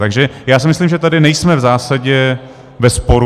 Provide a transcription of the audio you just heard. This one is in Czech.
Takže já si myslím, že tady nejsme v zásadě ve sporu.